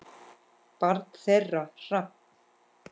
Barn þeirra: Hrafn.